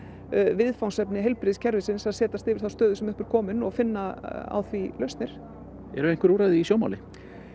viðfangsefni heilbrigðiskerfisins að setjast yfir þá stöðu sem upp er komin og finna á því lausnir eru einhver úrræði í sjónmáli